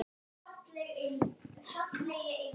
Stendur þú enn við það?